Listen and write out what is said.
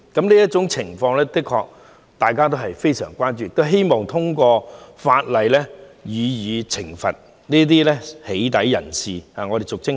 這種情況的確引起大家的深切關注，並希望通過法例懲罰進行俗稱"起底"活動的人士，對付這種惡行。